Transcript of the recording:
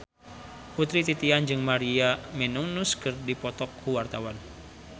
Putri Titian jeung Maria Menounos keur dipoto ku wartawan